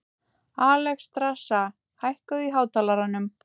Alexstrasa, hækkaðu í hátalaranum.